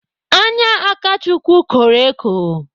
Anya Akachukwu kọrọ eko.